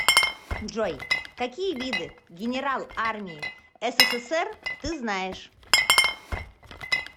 джой какие виды генерал армии ссср ты знаешь